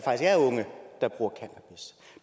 er unge